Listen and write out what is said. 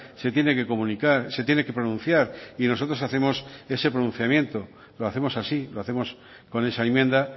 se tiene que comunicar se tiene que pronunciar y nosotros hacemos ese pronunciamiento lo hacemos así lo hacemos con esa enmienda